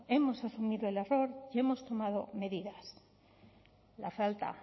hemos asumido el error y hemos tomado medidas la falta